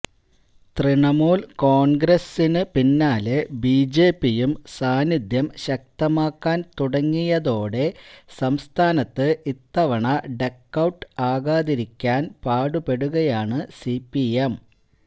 തൃണമൂല് കോണ്ഗ്രസിന് പിന്നാലെ ബിജെപിയും സാന്നിദ്ധ്യം ശക്തമാക്കാന് തുടങ്ങിയതോടെ സംസ്ഥാനത്ത് ഇത്തവണ ഡക്കൌട്ട് ആകാതിരിക്കാന് പാടുപെടുകയാണ് സിപിഎം